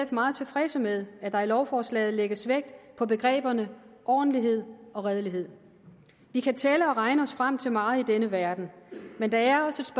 meget tilfredse med at der i lovforslaget lægges vægt på begreberne ordentlighed og redelighed vi kan tælle og regne os frem til meget i denne verden men det er også